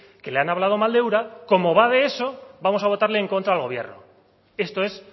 que le han hablado mal de ura como va de eso vamos a votarle en contra al gobierno esto es